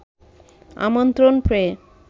আমন্ত্রণ পেয়ে